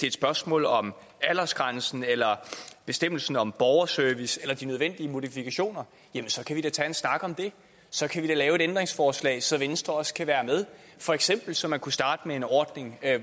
et spørgsmål om aldersgrænsen eller bestemmelsen om borgerservice eller de nødvendige modifikationer så kan vi da tage en snak om det så kan vi da lave et ændringsforslag så venstre også kan være med for eksempel så man kunne starte med en ordning